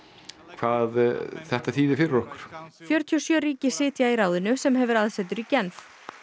hvað þetta þýði fyrir okkur fjörutíu og sjö ríki sitja í ráðinu sem hefur aðsetur í Genf